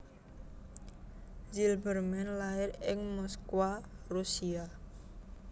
Zilberman lair ing Moskwa Rusia